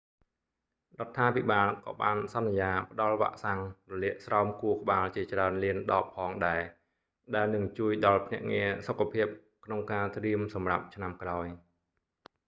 រដ្ឋាភិបាលក៏បានសន្យាផ្ដល់វ៉ាក់សាំងរលាកស្រោមខួរក្បាលជាច្រើនលានដបផងដែរ ដែលនឹងជួយដល់ភ្នាក់ងារសុខភាពក្នុងការត្រៀមសម្រាប់ឆ្នាំក្រោយ